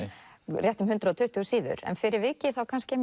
rétt um hundrað og tuttugu síður en fyrir vikið